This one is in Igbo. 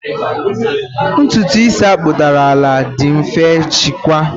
Ntutu Isi akpụdara ala dị mfe jikwaa.